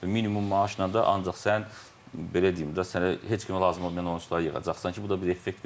Minimum maaşla da ancaq sən belə deyim də, sənə heç kimə lazım olmayan oyunçuları yığacaqsan ki, bu da bir effekt verməyəcək.